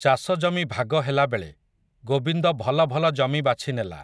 ଚାଷଜମି ଭାଗ ହେଲାବେଳେ, ଗୋବିନ୍ଦ ଭଲ ଭଲ ଜମି ବାଛିନେଲା ।